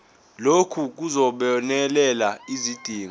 lokhu kuzobonelela izidingo